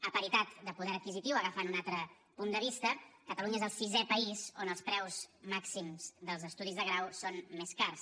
a paritat de poder adquisitiu agafant un altre punt de vista catalunya és el sisè país on els preus màxims dels estudis de grau són més cars